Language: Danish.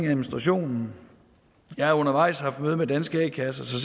administrationen jeg har undervejs haft to møder med danske a kasser